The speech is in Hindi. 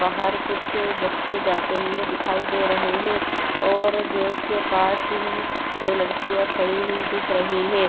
बाहर कुछ बच्चे जाते हुए दिखाई दे रहे हें और गेट के पास ही दो लडकिया खड़ी हुई दिख रही हें।